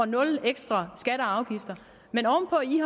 nul ekstra skatter